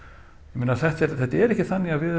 ég meina þetta er þetta er ekki þannig að við